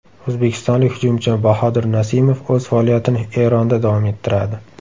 O‘zbekistonlik hujumchi Bahodir Nasimov o‘z faoliyatini Eronda davom ettiradi.